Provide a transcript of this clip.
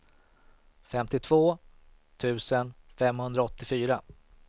femtiotvå tusen femhundraåttiofyra